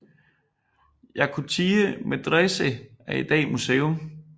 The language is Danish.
Yakutiye Medrese er i dag museum